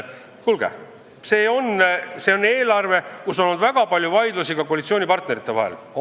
Kuulge, see on eelarve, mille üle on olnud väga palju vaidlusi ka koalitsioonipartnerite vahel.